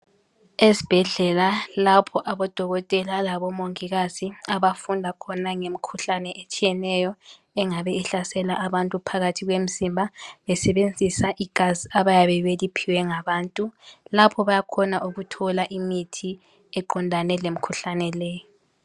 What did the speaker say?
Esbhedlela lapho aboDokotela labo Mongikazi abafunda khona ngemkhuhlane etshiyeneyo engabe ihlasela abantu phakathi kwemzimba besebenzisa igazi abayabe beliphiwe ngabantu lapho bayakhona ukuthola imithi eqondane lemkhuhlane leyo